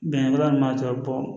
Bɛnbaliya ma bɔ